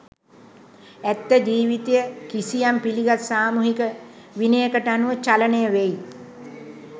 ඇත්ත ජීවිතය කිසියම් පිළිගත් සාමූහික විනයකට අනුව චලනය වෙයි.